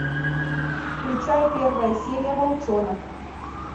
включай первая серия волчонок